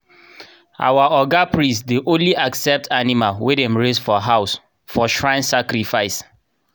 our oga priest dey only accept animal wey dem raise for house for shrine sacrifice.